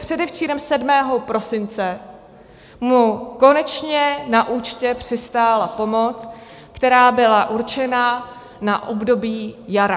Předevčírem, 7. prosince, mu konečně na účtě přistála pomoc, která byla určena na období jara.